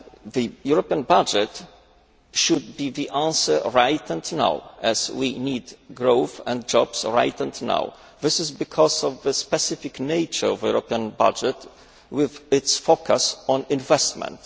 The European budget should be the answer right now as we need growth and jobs right now. This is because of the specific nature of the European budget, with its focus on investment.